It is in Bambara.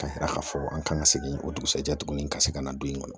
Ka yira k' fɔ an kan ka segin o dugusajɛ tuguni ka segin ka na don in kɔnɔ